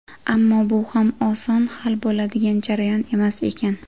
Ammo bu ham oson hal bo‘ladigan jarayon emas ekan.